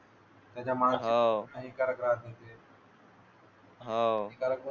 त्याच्यामुळे हानिकारक राहते